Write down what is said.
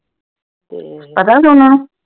ਪਤਾ ਉਨ੍ਹਾਂ ਨੂੰ